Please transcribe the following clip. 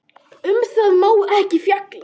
Um það má ekki fjalla.